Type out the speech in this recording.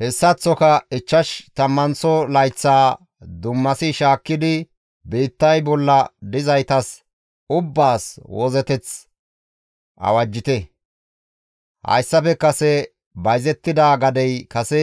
Hessaththoka ichchash tammanththo layththaa dummasi shaakkidi biittay bolla dizaytas ubbaas wozzeteth awajjite; hayssafe kase bayzettida gadey kase